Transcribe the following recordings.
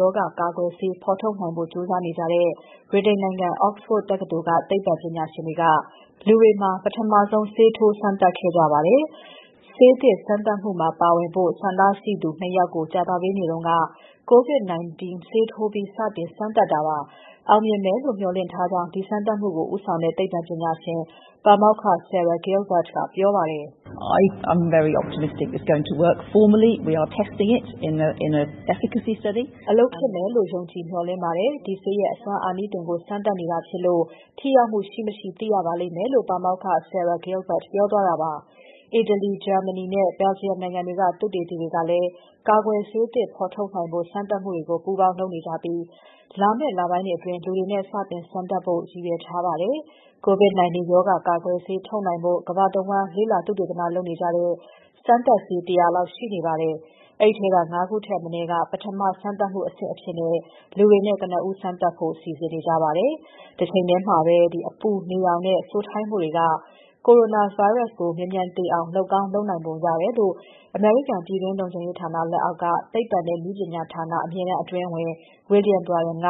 ရောဂါကာကွယ်ဆေး ဖော်ထုတ်နိုင်ဖို့ ကြိုးစားနေကြတဲ့ ဗြိတိန်နိုင်ငံ Oxford တက္ကသိုလ်က သိပ္ပံပညာရှင်တွေက လူတွေမှာ ပထမဆုံး ဆေးထိုး စမ်းသပ်ခဲ့ကြပါတယ်။ ဆေးသစ် စမ်းသပ်မှုမှာပါဝင်ဖို့ ဆန္ဒရှိသူ နှစ် ယောက်ကို ကြာသပတေးနေ့က COVID-19 ဆေးထိုးပြီး စတင် စမ်းသပ်တာဖြစ်ပါတယ်။ အောင်မြင်မယ်လို့ မေ ျှာ်လင့်ထားကြောင်း ဒီစမ်းသပ်မှုကို ဦးဆောင်တဲ့ သိပ္ပံပညာရှင် ပါမောက္ခ Sarah Gilbert ကပြောပါတယ်။ "အလုပ်ဖြစ်မယ်လို့ ယုံကြည်မေ ျှာ်လင့်ပါတယ်။ ဒီဆေးရဲ့ အစွမ်းအာနိသင်ကို စမ်းသပ်နေတာဖြစ်လို့ ထိရောက်မှုရှိ၊ မရှိသိရပါလိမ့်မယ်။" လို့ ပါမောက္ခ Sarah Gilbert ပြောသွားတာဖြစ်ပါတယ်။ အီတလီ၊ ဂျာမနီနဲ့ Belgium နိုင်ငံတွေက သုတေသီတွေကလည်း ကာကွယ်ဆေးသစ်ဖော်ထုတ်နိုင်ဖို့ စမ်းသပ်မှုတွေကို ပူးပေါင်းလုပ်နေကြပြီး လာမယ့်လပိုင်းအတွင်း လူတွေနဲ့ စတင်စမ်းသပ်နိုင်ဖို့ ရည်ရွယ်ထားပါတယ်။ COVID-19 ရောဂါကာကွယ်ဆေးထုတ်နိုင်ဖို့ ကမ္ဘာတဝန်းလေ့လာသုတေသန လုပ်နေကြတဲ့ စမ်းသပ်ဆေး ၁၀၀ လောက် ရှိနေပါတယ်။ အဲဒီထဲက ၅ ခုထက်မနည်းက ပထမစမ်းသပ်မှုအဆင့်အဖြစ် လူတွေနဲ့ ကနဦး စမ်းသပ်ဖို့ စီစဉ်နေကြပါတယ်။ တချိန်ထဲမှာပဲ အပူ၊ နေရောင်နဲ့ စိုထိုင်းမှုတွေက coronavirus ပိုး မြန်မြန်သေအောင် လုပ်ကောင်း လုပ်နိုင်ပုံရတယ်လို့ အမေရိကန် ပြည်တွင်းလုံခြုံရေးဌာနလက်အောက်က သိပ္ပံနဲ့ နည်းပညာဌာန အမြဲတန်းအတွင်းဝန် William Bryan က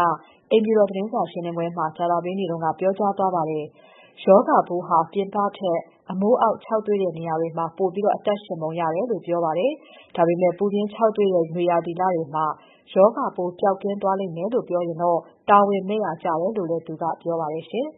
အိမ်ဖြူတော်သတင်းစာရှင်းပွဲမှာ ကြာသပတေးနေ့က ပြောကြားသွားပါတယ်။ ရောဂါပိုးဟာ ပြင်ပထက် အမိုးအောက်ခြောက်သွေ့တဲ့နေရာတွေမှာ ပိုပြီးအသက်ရှင်ပုံရတယ်လို့ ပြောပါတယ်။ ဒါပေမဲ့ ပူပြင်းခြောက်သွေ့တဲ့ နွေရာသီလတွေမှာ ရောဂါပိုးပျောက်ကင်းသွားမယ်လို့ ပြောရင်တော့ တာဝန်မဲ့ရာကျတယ်လို့လည်း သူက ပြောပါတယ်ရှင်